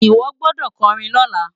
Iwo gbòdò kòrin lòlá